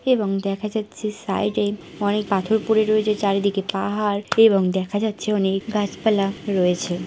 এবং দেখা যাচ্ছে সাইড এ অনেক পাথর পড়ে রয়েছে চারিদিকে পাহাড় । এবং দেখা যাচ্ছে অনেক গাছপালা রয়েছে।